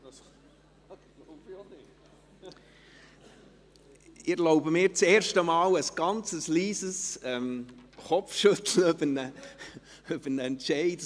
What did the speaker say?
Ich erlaube mir zum ersten Mal ein leises Kopfschütteln über einen Entscheid.